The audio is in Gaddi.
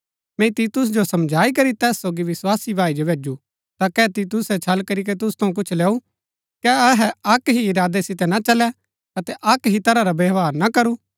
मैंई तीतुस जो समझाई करी तैस सोगी विस्वासी भाई जो भैजु ता कै तीतुसै छल करीके तुसु थऊँ कुछ लैऊ कै अहै अक्क ही इरादै सितै ना चलै अतै अक्क ही तरह रा व्यवहार ना करू